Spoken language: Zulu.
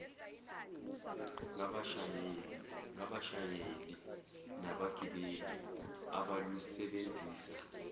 ngabashayeli nabagibeli abalusebenzisa